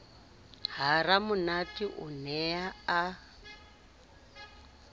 ha ramonate o ne a